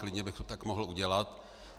Klidně bych to tak mohl udělat.